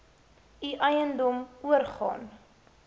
u eiendom oorgaan